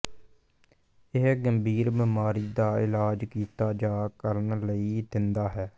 ਇਹ ਗੰਭੀਰ ਬੀਮਾਰੀ ਦਾ ਇਲਾਜ ਕੀਤਾ ਜਾ ਕਰਨ ਲਈ ਦਿੰਦਾ ਹੈ